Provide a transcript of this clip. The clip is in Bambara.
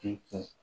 K'i kɛ